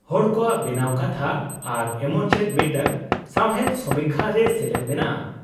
ᱦᱚᱲ ᱠᱚᱣᱟᱜ ᱵᱮᱱᱟᱣ ᱠᱟᱛᱷᱟ ᱟᱨ ᱮᱢᱚᱱ ᱪᱮᱫ ᱢᱤᱫᱴᱟᱝ ᱥᱟᱶᱦᱮᱫ ᱥᱚᱢᱤᱠᱠᱷᱟ ᱨᱮ ᱥᱮᱞᱮᱫ ᱢᱮᱱᱟᱜᱼᱟ ᱾